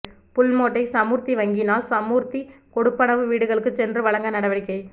புல்மோட்டை சமுர்த்தி வங்கியினால் சமூர்த்தி கொடுப்பனவு வீடுகளுக்கு சென்று வழங்க நடவடிக்கை